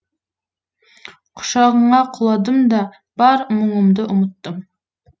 құшағыңа құладым да бар мұңымды ұмыттым